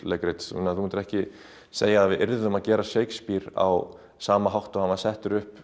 leikrits þú myndir ekki segja að við yrðum að gera Shakespeare á sama hátt og hann var settur upp